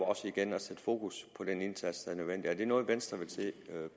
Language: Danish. igen at sætte fokus på den indsats der er nødvendig er det noget venstre vil se